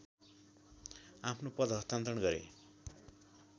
आफ्नो पद हस्तान्तरण गरे